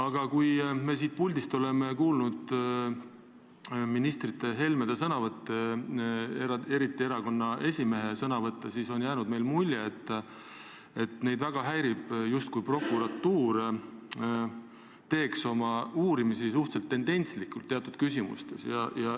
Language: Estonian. Me oleme siin saalis kuulnud ministrite Helmete sõnavõtte – eriti pean ma silmas erakonna esimehe sõnavõtte – ja meile on jäänud mulje, et neid väga häirib see, et prokuratuur justkui viib oma uurimisi teatud küsimustes läbi suhteliselt tendentslikult.